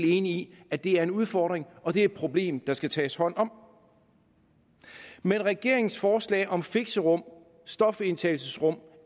enig i at det er en udfordring og det er et problem der skal tages hånd om men regeringens forslag om fixerum stofindtagelsesrum